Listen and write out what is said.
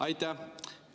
Aitäh!